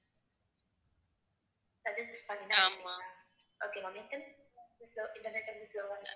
suggest பண்ணித எடுத்திங்களா okay ma'am so internet வீட்ல slow வா இருக்கு